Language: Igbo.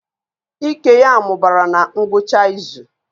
Ike ya mụbara na ngwụcha izu